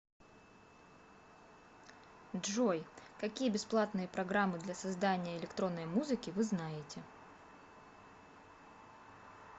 джой какие бесплатные программы для создания электронной музыки вы знаете